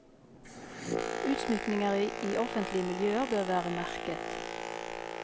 Utsmykninger i offentlige miljøer bør være merket.